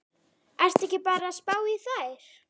Ertu ekki bara að spá í þær?